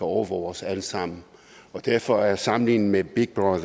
overvåge os alle sammen derfor er sammenligningen med big brother